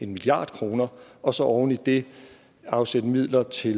milliard kroner og så oven i det afsætte midler til